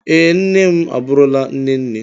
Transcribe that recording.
Ee, nne m abụrụla nne nne